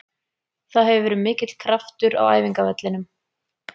Það hefur verið mikill kraftur á æfingavellinum.